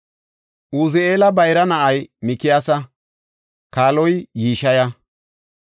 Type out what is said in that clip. Uzi7eela bayra na7ay Mikiyaasa; kaaloy Yishiya.